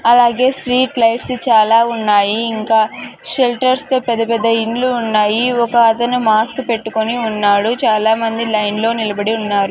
అలాగే street lights చాలా ఉన్నాయి ఇంకా షెల్టర్స్ తో పెద్ద పెద్ద ఇండ్లు ఉన్నాయి ఒక అతను మాస్క్ పెట్టుకొని ఉన్నాడు చాలామంది లైన్ లో నిలబడి ఉన్నారు.